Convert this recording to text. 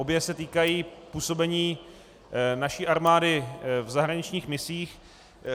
Obě se týkají působení naší armády v zahraničních misích.